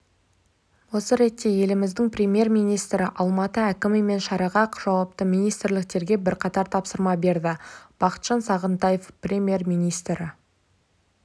осы ретте еліміздің премьер-министрі алматы әкімі мен шараға жауапты министрліктерге бірқатар тапсырма берді бақытжан сағынтаев премьер-министрі